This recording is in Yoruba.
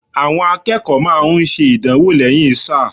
Àwọn akẹ́kọ̀ọ́ máa ń ṣe ìdánwò lẹ́yìn sáà.